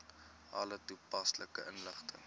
alle toepaslike inligting